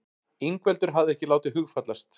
Ingveldur hafði ekki látið hugfallast.